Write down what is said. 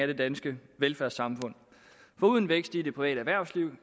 det danske velfærdssamfund for uden vækst i det private erhvervsliv